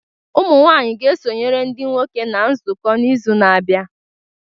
Ụmụ nwanyị ga-esonyere ndị nwoke na nzukọ n'izu na-abịa